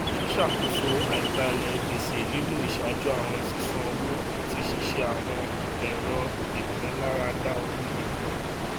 ṣíṣàkóso àìbalẹ gbèsè nílò ìṣàjú àwọn sísan owó àti ṣíṣe àwọn èrò ìmúláradá owó gidi